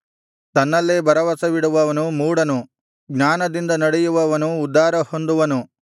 ತನ್ನಲ್ಲೇ ಭರವಸವಿಡುವವನು ಮೂಢನು ಜ್ಞಾನದಿಂದ ನಡೆಯುವವನು ಉದ್ಧಾರ ಹೊಂದುವನು